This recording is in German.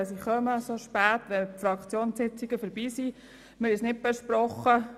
Wir konnten diese Verschiebung in der Fraktion nicht besprechen.